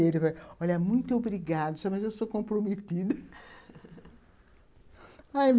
Ele falou, olha, muito obrigado, mas eu sou comprometido